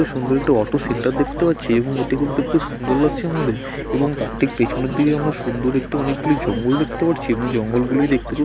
সুন্দর একটি auto centre দেখতে পাচ্ছি এবং এটুকু দেখতে সুন্দর লাগছে আমাদের | এবং তার ঠিক পেছনের দিকে আমরা সুন্দর একটি অনেকগুলি জঙ্গল দেখতে পারছি এবং জঙ্গল গুলোই দেখতে খুব --|